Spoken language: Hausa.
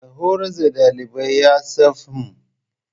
Mai horas da ɗalibai yasafmmmń